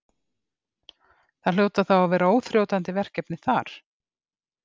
Það hljóta þá að vera óþrjótandi verkefni þar?